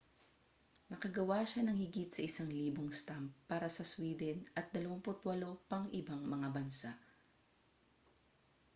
nakagawa siya ng higit sa 1,000 stamp para sa sweden at 28 pang ibang mga bansa